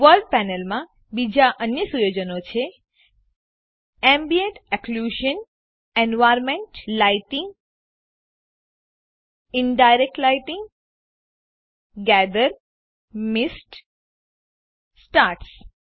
world પેનલમાં બીજા અન્ય સુયોજનો છે ambient occlusion environment lighting indirect lighting gather mist stars